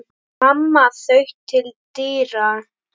Mamma þaut til dyra.